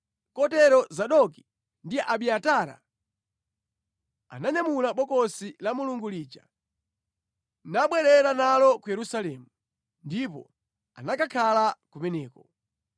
Kotero Zadoki ndi Abiatara ananyamula Bokosi la Mulungu lija nabwerera nalo ku Yerusalemu, ndipo anakakhala kumeneko.